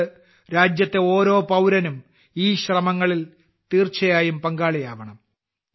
അതുകൊണ്ട് രാജ്യത്തെ ഓരോ പൌരനും ഈ ശ്രമങ്ങളിൽ തീർച്ചയായും പങ്കാളിയാവണം